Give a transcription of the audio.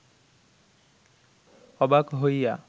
অবাক হইয়া